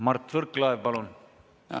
Mart Võrklaev, palun!